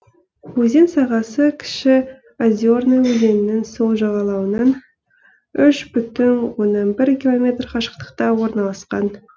өзен сағасы кіші озерная өзенінің сол жағалауынан үш бүтін оннан бір километр қашықтықта орналасқан